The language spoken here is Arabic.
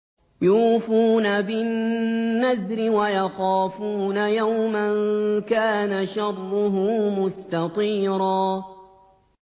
يُوفُونَ بِالنَّذْرِ وَيَخَافُونَ يَوْمًا كَانَ شَرُّهُ مُسْتَطِيرًا